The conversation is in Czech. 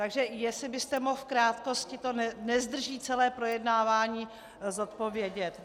Takže jestli byste mohl v krátkosti, to nezdrží celé projednávání, zodpovědět.